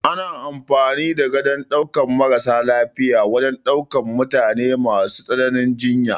Ana amfani da Gadon ɗaukan maras lafiya wajan daukan mutane masu tsananin jinya